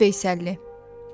Əşrəf Veysəlli.